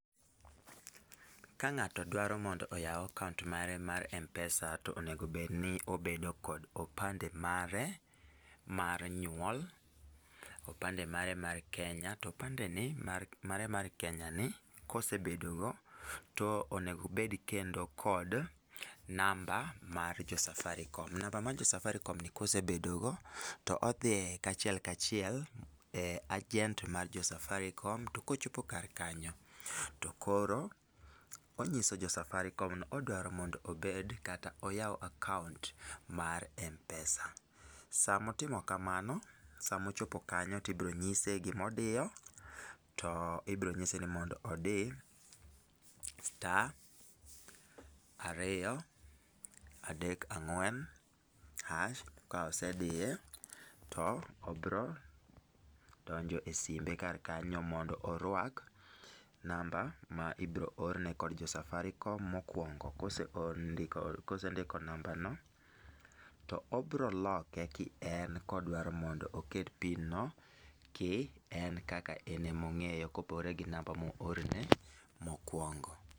Ka ng'ato dwaro mondo oyaw akaont mare mar Mpesa to onego bed ni obedo kod opande mare mar nyuol, opande mare mar Kenya, to opande ni, mare mar Kenya ni, kosebedo go to onego obed kendo kod namba mar jo Safaricom. Namba mar jo safaricom ni kosebedo go, to odhi achiel kachiel e agent mar jo safaricom. To kochopo kar kanyo, to koro onyiso jo safaricom ni odwaro mondo obed kata oyaw akaont mar Mpesa. Sama otimo kamano, sama ochopo kanyo, tibro nyise gima odiyo, to ibro nyise ni mondo odi star- ariyo -adek-ang'wen- hash. Ka osediye, to obiro donjo e simbe kar kanyo mondo orwak namba ma ibiro orne kod jo safaricom mokuongo. Kosendiko namba no, to obiro loke ki en kodwaro mondo oket pin no ki en kaka en ema ong'eyo kopogore gi namba moorne mokuongo.